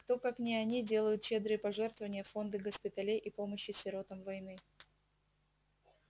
кто как не они делают щедрые пожертвования в фонды госпиталей и помощи сиротам войны